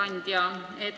Hea ettekandja!